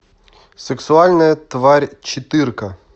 сексуальная тварь четырка